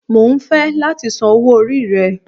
Mo ń fẹ́ láti san owó orí rẹ